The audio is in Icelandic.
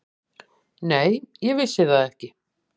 Nei, ég vissi það ekki.